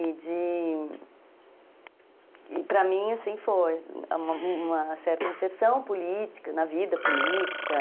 E de... E para mim, assim, foi uma certa inserção política, na vida política.